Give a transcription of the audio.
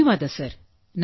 ಧನ್ಯವಾದ ಸರ್